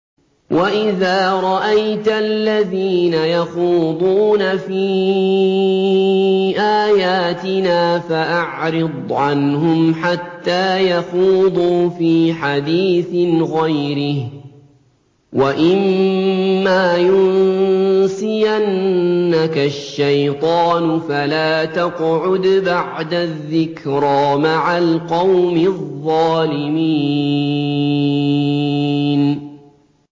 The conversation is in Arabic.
وَإِذَا رَأَيْتَ الَّذِينَ يَخُوضُونَ فِي آيَاتِنَا فَأَعْرِضْ عَنْهُمْ حَتَّىٰ يَخُوضُوا فِي حَدِيثٍ غَيْرِهِ ۚ وَإِمَّا يُنسِيَنَّكَ الشَّيْطَانُ فَلَا تَقْعُدْ بَعْدَ الذِّكْرَىٰ مَعَ الْقَوْمِ الظَّالِمِينَ